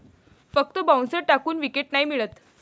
फक्त बाउन्सर टाकून विकेट नाही मिळत.